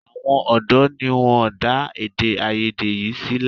Àwọn ọ̀dọ́ ni wọ́n dá èdè-áiyedé yìí sílẹ̀.